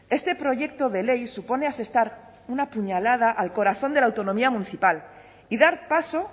este proyecto de ley supone asestar una puñalada al corazón de la autonomía municipal y dar paso